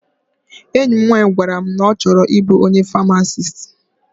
Enyi m nwaanyị gwara m na ọ chọrọ ịbụ onye famasist.